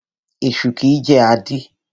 Esu kìí jẹ́ àdí.